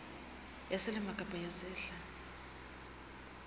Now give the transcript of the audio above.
ya selemo kapa ya sehla